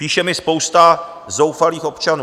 Píše mi spousta zoufalých občanů.